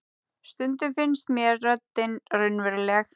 Stundum finnst mér röddin raunveruleg.